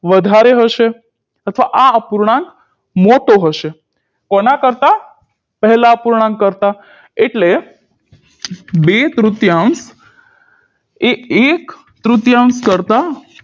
વધારે હશે અથવા આ અપૂર્ણાંક મોટો હશે કોનાં કરતાં પહેલા અપૂર્ણાંક કરતાં એટલે બે તૃતીયાંશ એ એક તૃતીયાંશ કરતાં